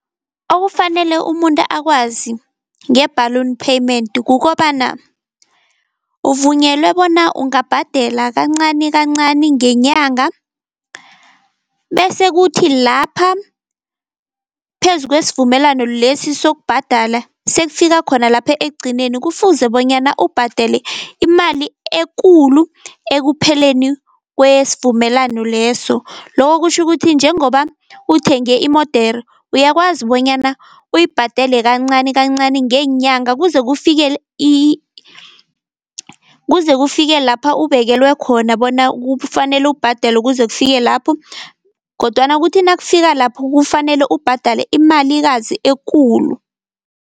Okufanele umuntu akwazi nge-balloon payment kukobana uvunyelwe bona ungabhadela kancanikancani ngenyanga, bese kuthi lapha phezu kwesivumelano lesi sokubhadala, sekufika khona lapha ekugcineni kufuze bonyana ubhadele imali ekulu ekupheleni kwesivumelano leso. Loko kutjho ukuthi njengoba uthenge imodere uyakwazi bonyana uyibhadele kancanikancani ngeenyanga, kuze kufike kuze kufike lapha ubekelwe khona bona kufanele ubhadele kuze kufike lapho, kodwana kuthi nakufika lapho kufanele ubhadale imali kazi ekulu.